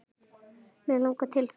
Mig langar til þess.